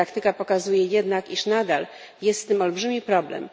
Praktyka pokazuje jednak, że nadal jest z tym olbrzymi problem.